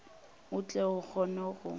o tle o kgone go